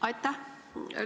Aitäh!